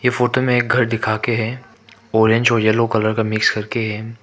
Photo में एक घर दिखाके है ऑरेंज और येलो कलर का मिक्स करके है।